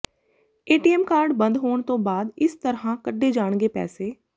ATM card ਬੰਦ ਹੋਣ ਤੋਂ ਬਾਅਦ ਇਸ ਤਰ੍ਹਾਂ ਕੱਢੇ ਜਾਣਗੇ ਪੈਸੇ